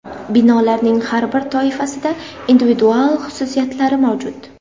Binolarning har bir toifasida individual xususiyatlari mavjud.